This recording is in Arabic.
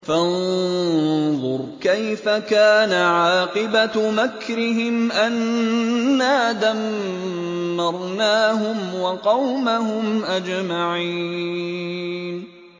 فَانظُرْ كَيْفَ كَانَ عَاقِبَةُ مَكْرِهِمْ أَنَّا دَمَّرْنَاهُمْ وَقَوْمَهُمْ أَجْمَعِينَ